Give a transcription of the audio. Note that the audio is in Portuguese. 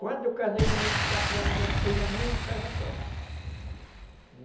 Quando eu casei com vinte e quatro anos, já tinha a minha casa pronta.